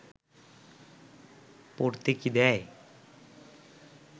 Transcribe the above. পড়তে কি দেয়